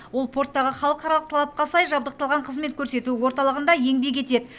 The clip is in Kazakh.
ол порттағы халықаралық талапқа сай жабдықталған қызмет көрсету орталығында еңбек етеді